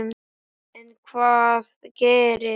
En hvað gerist.